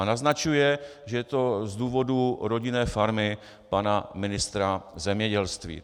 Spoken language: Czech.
A naznačuje, že je to z důvodů rodinné farmy pana ministra zemědělství.